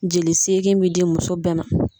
Jeli seegin bie di muso bɛɛ ma.